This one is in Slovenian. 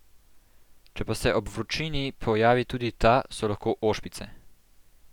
Če pa se ob vročini pojavi tudi ta, so lahko ošpice.